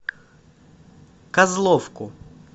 козловку